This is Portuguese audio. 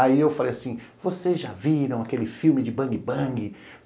Aí eu falei assim, vocês já viram aquele filme de Bang Bang?